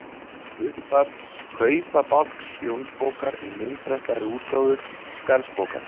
Upphaf Kaupabálks Jónsbókar í myndprentaðri útgáfu Skarðsbókar.